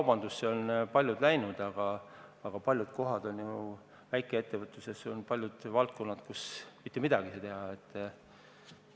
Paljud on üle läinud e-kaubandusele, aga väikeettevõtluses on palju valdkondi, kus mitte midagi ei saa teha.